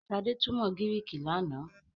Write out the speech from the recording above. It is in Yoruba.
Shade túmọ Griiki lànà.